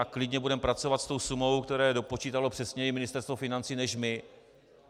A klidně budeme pracovat s tou sumou, kterou dopočítalo přesněji Ministerstvo financí než my.